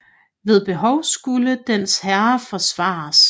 Ved behov skulle dens herre forsvares